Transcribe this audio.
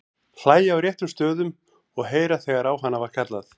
Hlæja á réttum stöðum og heyra þegar á hana var kallað.